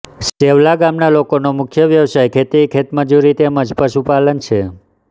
સેવલા ગામના લોકોનો મુખ્ય વ્યવસાય ખેતી ખેતમજૂરી તેમ જ પશુપાલન છે